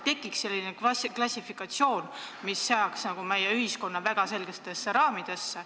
Tekiks selline klassifikatsioon, mis seaks meie ühiskonna väga selgetesse raamidesse.